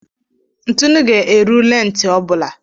Ntụnụ ga-eru lentị ọ bụla.